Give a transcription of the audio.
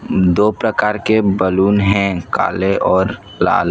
दो प्रकार के बैलून हैं काले और लाल।